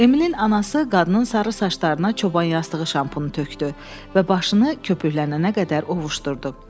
Emilin anası qadının sarı saçlarına çobanyastığı şampunu tökdü və başını köpüklənənə qədər ovuşdurdu.